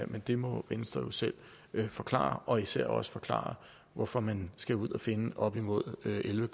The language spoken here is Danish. men det må venstre jo selv forklare og især også forklare hvorfor man skal ud at finde op imod elleve